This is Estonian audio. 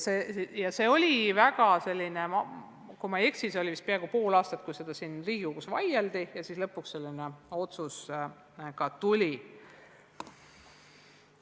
Kui ma ei eksi, siis vaieldi selle üle siin Riigikogus vist peaaegu pool aastat ja lõpuks selline otsus ka tuli.